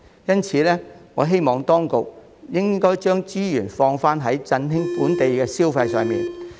因此，我希望當局將資源主要投放在振興本地消費方面。